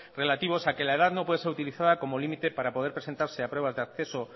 relativos a que la edad no puede ser utilizada como límite para poder presentarse a pruebas de acceso